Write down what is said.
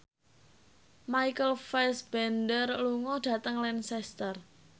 Michael Fassbender lunga dhateng Lancaster